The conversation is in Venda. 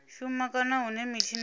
shuma kana hune mitshini ya